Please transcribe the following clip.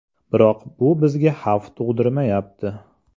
Biroq bu bizga xavf tug‘dirmayapti.